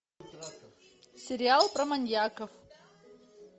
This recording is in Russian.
сериал про маньяков